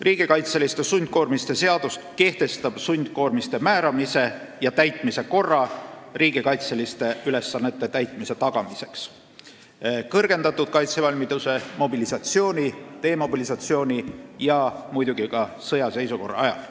Riigikaitseliste sundkoormiste seadus kehtestab sundkoormiste määramise ja täitmise korra riigikaitseliste ülesannete täitmise tagamiseks kõrgendatud kaitsevalmiduse, mobilisatsiooni, demobilisatsiooni ja muidugi ka sõjaseisukorra ajal.